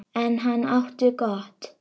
En hann átti gott.